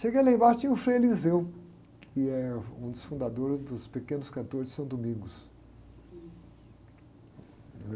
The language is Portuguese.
Cheguei lá embaixo e tinha o Frei, que é um dos fundadores dos pequenos cantores de São Domingos.